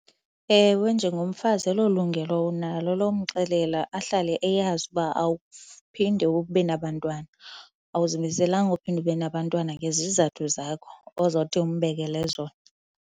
Ewe, njengomfazi elo lungelo unalo lomxelela ahlale eyazi uba awuphinde ube nabantwana, awuzimamelanga uphinde ube nabantwana ngezizathu zakho ozawuthi umbekele zona.